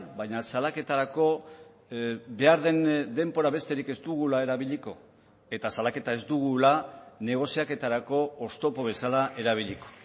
baina salaketarako behar den denbora besterik ez dugula erabiliko eta salaketa ez dugula negoziaketarako oztopo bezala erabiliko